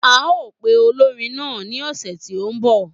A o pe olórin náà ní ọ̀sẹ̀ tí o ń bọ̀